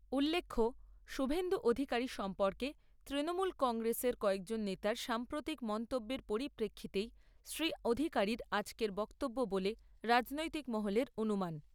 উল্লেখ্য, শুভেন্দু অধিকারী সম্পর্কে তৃণমূল কংগ্রেসের কয়েকজন নেতার সাম্প্রতিক মন্তব্যের পরিপ্রেক্ষিতেই শ্রী অধিকারীর আজকের বক্তব্য বলে রাজনৈতিক মহলের অনুমান।